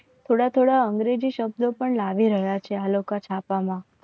થોડા થોડાશઅંગ્રેજી શબ્દો પણ લાવી રહ્યા છે આ લોકો છાપામાં